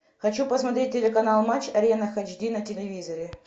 хочу посмотреть телеканал матч арена эйч ди на телевизоре